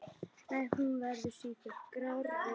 Nei, hún verður sífellt grárri.